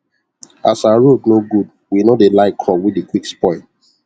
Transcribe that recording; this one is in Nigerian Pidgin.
as our road nor good w nor dey like crop wey dey qick spoil